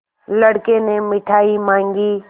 लड़के ने मिठाई मॉँगी